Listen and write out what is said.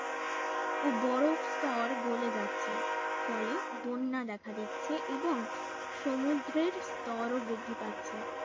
ও বরফ স্তর গোলে যাচ্ছে ফলে বন্যা দেখা দিচ্ছে এবং সমুদ্রর স্তরও বৃদ্ধি পাচ্ছে